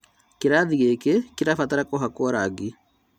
Kĩrathi gĩkĩ kĩrabatara kũhakwo rangi